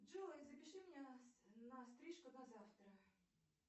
джой запиши меня на стрижку на завтра